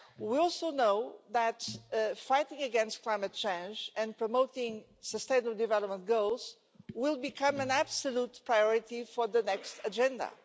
We also know that fighting against climate change and promoting sustainable development goals will become an absolute priority for the next agenda.